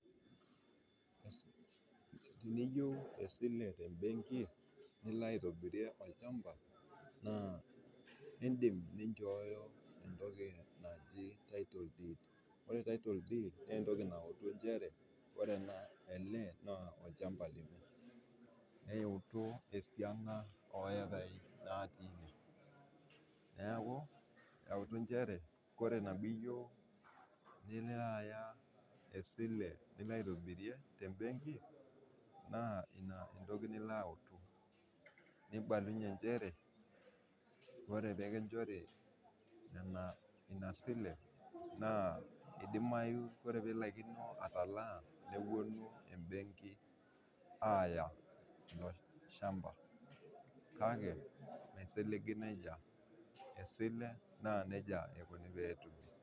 Teniyieu esile tembenki, nilo aitobirie olchampa naa indim ninchooyo entoki naji tittle deed ore title deed naa entoki nautu nchere ore ele naa olchampa lino, eyautu esiana oyekai natii ine ,neeku keutu nchere ore pee iyieu nilo aya esile nilo aitobirie tembenki ,naa ina entoki nilo autu. nibalunye nchere ore pee kinchori ina sile naa eidimayu ore pee ilaikino ataalaa neponu embenki aaya ilo samba. kake meisiligi nejia esile naa najia eikoni paa etumi.